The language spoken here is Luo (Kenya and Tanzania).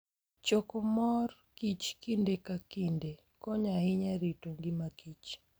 Choko mor kich kinde ka kinde konyo ahinya e rito ngimakich